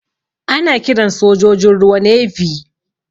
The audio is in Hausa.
Ana kiran sojojin ruwa "Navy".